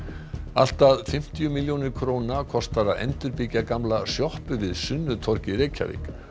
allt að fimmtíu milljónir króna kostar að endurbyggja gamla sjoppu við Sunnutorg í Reykjavík